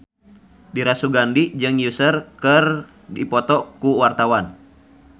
Dira Sugandi jeung Usher keur dipoto ku wartawan